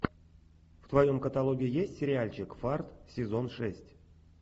в твоем каталоге есть сериальчик фарт сезон шесть